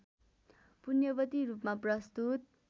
पुण्यवती रूपमा प्रस्तुत